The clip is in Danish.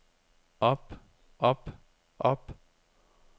op op op